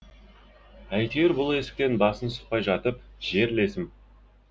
әйтеуір бұл есіктен басын сұқпай жатып жерлесім